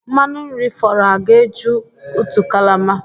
Mmanụ nri fọrọ a ga-eju otu kalama?